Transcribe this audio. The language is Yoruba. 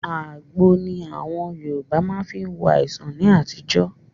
Àgbo ní àwọn Yorùbá má fí ń wo àìsàn ní àtijọ́.